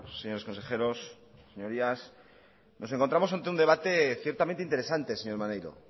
señores consejeros señorías nos encontramos ante un debate ciertamente interesante señor maneiro